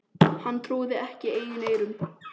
Hann trúði ekki eigin eyrum.